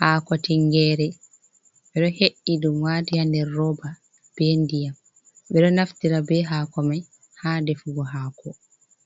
Hako tingere, ɓe ɗo he’i ɗum wati ha nder roba be ndiyam. ɓe ɗo naftira be hakomai ha defugo hako,